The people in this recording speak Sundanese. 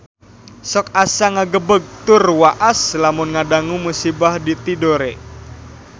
Sok asa ngagebeg tur waas lamun ngadangu musibah di Tidore